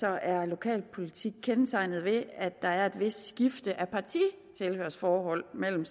er lokalpolitik kendetegnet ved at der er et vist skifte af partitilhørsforhold mellem